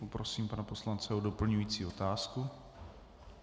Poprosím pana poslance o doplňující otázku.